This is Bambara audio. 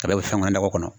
A bɛɛ bɛ fɛn kɔnɔ nakɔ kɔnɔ